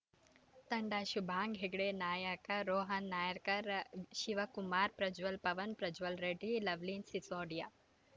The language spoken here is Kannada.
ತಂಡ ಶುಭಾಂಗ್‌ ಹೆಗ್ಡೆ ನಾಯಕ ರೋಹನ್‌ ನಾಯ್ಕರ್‌ ಶಿವಕುಮಾರ್‌ ಪ್ರಜ್ವಲ್‌ ಪವನ್‌ ಪ್ರಜ್ವಲ್‌ ರೆಡ್ಡಿ ಲವನಿತ್‌ ಸಿಸೋಡಿಯಾ